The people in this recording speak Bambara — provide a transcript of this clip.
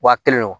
Wa kelen wo